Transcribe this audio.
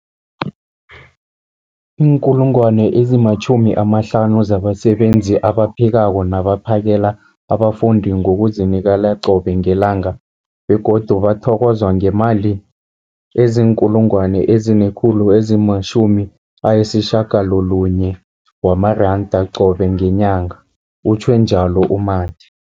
50 000 zabasebenzi abaphekako nabaphakela abafundi ngokuzinikela qobe ngelanga, begodu bathokozwa ngemali ema-960 wamaranda qobe ngenyanga, utjhwe njalo u-Mathe.